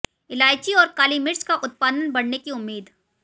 इलायची और काली मिर्च का उत्पादन बढऩे की उम्मीद